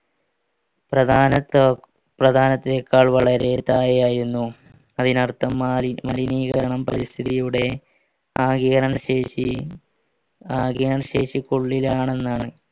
പ്രധാനത്തെക്കാൾ വളരെ താഴെയായിരുന്നു അതിനർത്ഥം മാറി മലിനീകരണം പരിസ്ഥിതിയുടെ ആഗീരണ ശേഷി ആഗീരണശേഷിക്കുള്ളിലാണെന്നാണ്